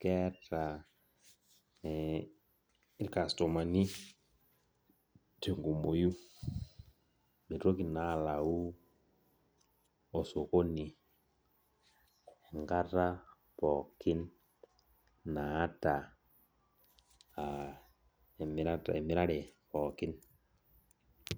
keeta irkastomani tenkumoi mitoki naa alau osokoni enkata pooki naata emirare pookin.